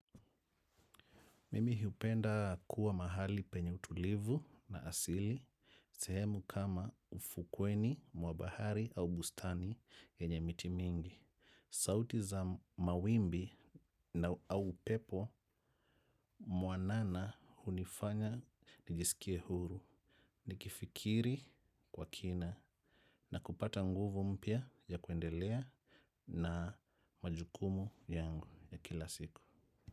Mimi hiupenda kuwa mahali penye utulivu na asili. Sehemu kama ufukweni mwa bahari au bustani nyenye miti mingi. Sauti za mawimbi na au upepo mwanana hunifanya nijisikie huru. Nikifikiri kwa kina na kupata nguvu mpya ya kuendelea na majukumu yangu ya kila siku.